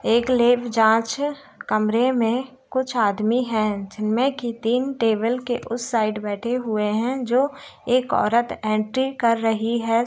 एक लैब जांच है कमरे में कुछ आदमी है जिनमे कि तीन टेबल के उस साइड बैठे हुए है जो एक औरत एंट्री कर रही है।